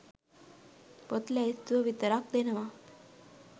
පොත් ලැයිස්තුව විතරක් දෙනවා.